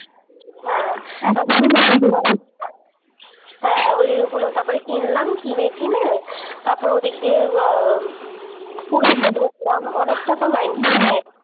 হ্যাঁ হ্যাঁ ওই ওইগুলো তারপরে কিনলাম। কিনে টিনে তারপরে ওদিক দিয়ে ব পুরীতে ঢুকলাম অনেকটা তো লাইন